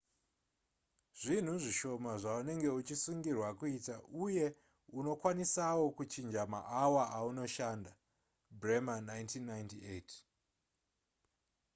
zvinhu zvishoma zvaunenge uchisungirwa kuita uye unokwanisawo kuchinja maawa aunoshanda. bremer 1998